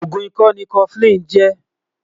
ògún ìkọ ní koflin jè